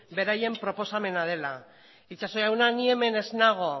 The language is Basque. beraien proposamena dela itxaso jauna ni hemen ez nago